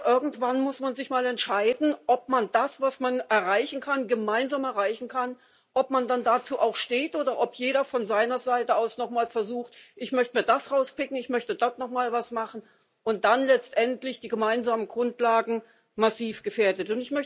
Irgendwann muss man sich mal entscheiden, ob man zu dem, was man erreichen kann gemeinsam erreichen kann dann auch steht, oder ob jeder von seiner Seite aus nochmal versucht ich möchte mir das rauspicken, ich möchte doch nochmal was machen und dann letztendlich die gemeinsamen Grundlagen massiv gefährdet.